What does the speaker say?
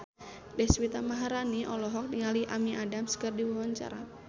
Deswita Maharani olohok ningali Amy Adams keur diwawancara